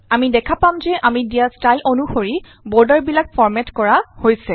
আমি দেখা পাম যে আমি দিয়া ষ্টাইল অনুসৰি বৰ্ডাৰবিলাক ফৰ্মেট কৰা হৈছে